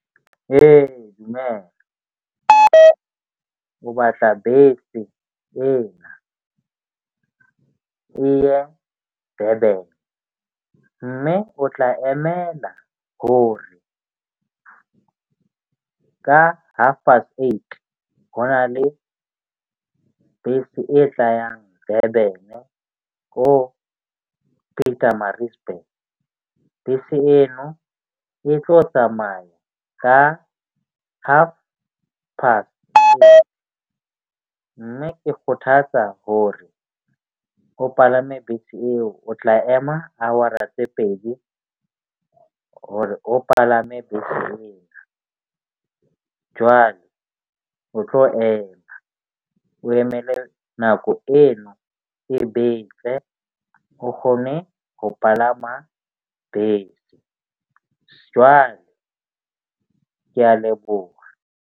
O batla bese ena, e ya Durban mme o tla emela ho re ka half past eight. Ho na le bese e tlayang Durban-e ko Petermaritzburg. Bese eno e tlo tsamaya ka half past. Mme ke kgothatsa hore o palame bese eo o tla ema hour-a tse pedi hore o palame beseng, jwale o tlo ema o emele nako eno e betse, o kgone ho palama bese. Jwale ke a leboha.